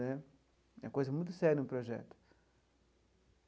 Né é coisa muito séria um projeto.